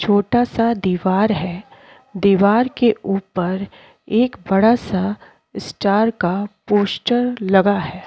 छोटा सा दीवार है दीवार के ऊपर एक बड़ा सा स्टार का पोस्टर लगा है।